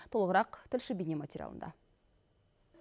толығырақ тілші бейнематериалында